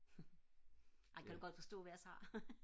ej kan du godt forstå hvad jeg siger